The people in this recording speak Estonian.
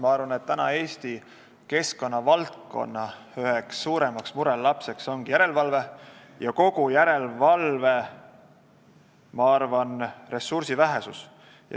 Ma arvan, et Eesti keskkonnavaldkonna üheks suuremaks murelapseks ongi järelevalve ja järelevalveressursside vähesus.